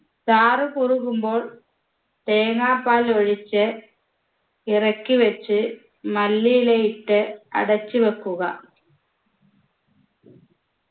ചാറ് കുറുകുമ്പോൾ തേങ്ങാപാൽ ഒഴിച്ച് ഇറക്കി വെച്ച് മല്ലിയില ഇട്ട് അടച്ചു വെക്കുക